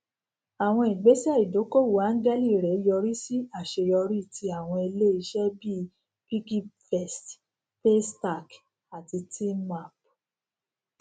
àwọn igbèsẹ ìdókòwò áńgẹlì rẹ yọrí sí àṣeyọrí tí àwọn iléiṣẹ bíi piggyvest paystack àti teamapt